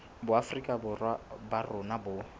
boafrika borwa ba rona bo